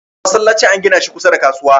masallacin an gina shi kusa da kasuwa